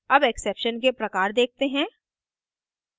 अब exceptions के प्रकार देखते हैं